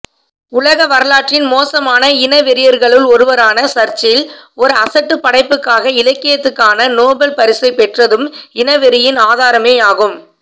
உலகவரலாற்றின் மோசமான இனவெறியர்களுள் ஒருவரான சர்ச்சில் ஒரு அசட்டுப் படைப்புக்காக இலக்கியத்துக்கான நோபல் பரிசைப்பெற்றதும் இனவெறியின் ஆதாரமேயாகும்